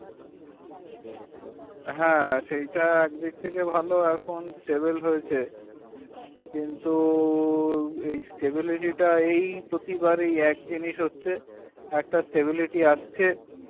হাঁ সেটা একদিক থেকে ভালো এখন stable হয়েছে কিন্তু stable এই stable এই পতিবাড়ি এক জিনিস হচ্ছে। একটা stable আসছে